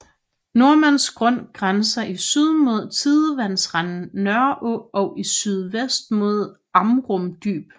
Nordmands Grund grænser i syd mod tidevandsrenden Nørreå og i sydvest mod Amrum Dyb